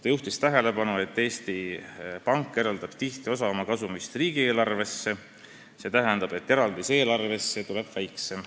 Ta juhtis tähelepanu, et Eesti Pank eraldab tihti osa oma kasumist riigieelarvesse ja too eraldis eelarvesse tuleks lihtsalt väiksem.